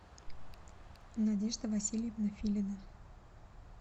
надежда васильевна филина